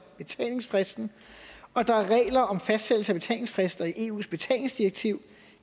betalingsfristen og der er regler om fastsættelse af betalingsfrister i eus betalingsdirektiv